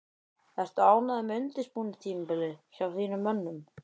Ertu ánægður með undirbúningstímabilið hjá þínum mönnum?